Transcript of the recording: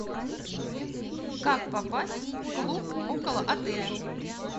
как попасть в клуб около отеля